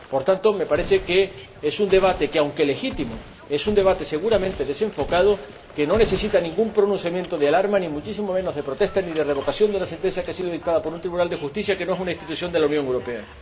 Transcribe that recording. Por tanto, me parece que es un debate que, aunque legítimo, es un debate seguramente desenfocado que no necesita ningún pronunciamiento de alarma ni, muchísimo menos, de protesta ni de revocación de la sentencia que ha sido dictada por un tribunal de justicia que no es una institución de la Unión Europea.